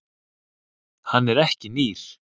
Hann er ekki nýr.